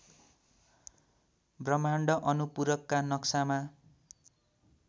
ब्रह्माण्ड अनुपूरकका नक्सामा